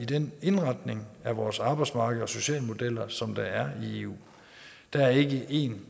den indretning af vores arbejdsmarked og sociale modeller som der er i eu der er ikke en